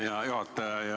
Hea juhataja!